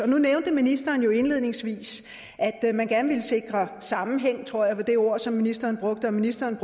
nu nævnte ministeren indledningsvis at at man gerne ville sikre sammenhæng det tror jeg var det ord som ministeren brugte og ministeren